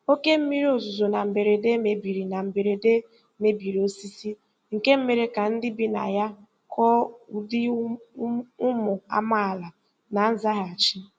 Oke mmiri ozuzo na mberede mebiri na mberede mebiri osisi, nke mere ka ndị bi na ya kụọ ụdị ụmụ amaala na nzaghachi.